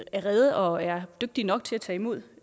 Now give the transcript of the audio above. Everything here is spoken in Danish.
er rede og er dygtige nok til at tage imod